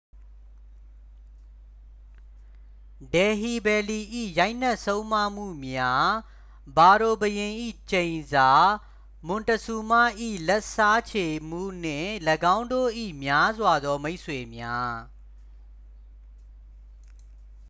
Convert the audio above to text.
ဒယ်ဟီဘယ်လီ ၏ရိုက်နှက်ဆုံးမမှုများ ဖာရိုဘုရင်၏ကျိန်စာ မွန်တဇူးမ ၏ လက်စားချေမှု နှင့် ၎င်းတို့၏များစွာသောမိတ်ဆွေများ